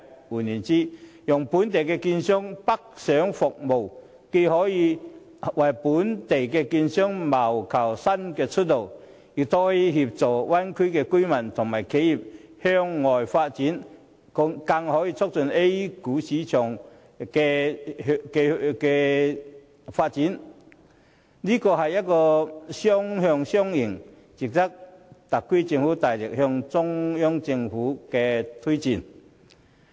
換言之，讓本港券商北上服務，既可為本港券商謀求新出路，亦可協助大灣區的居民和企業向外發展，更可促進 A 股市場的發展，正是雙向雙贏，值得特區政府大力向中央政府推薦。